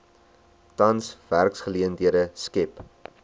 tans werksgeleenthede skep